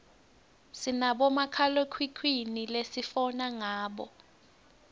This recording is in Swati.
sinabomakhalekhukhwini lesifona ngabo